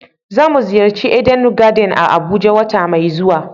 za mu ziyarci "Eden garden" a abuja wata mai zuwa.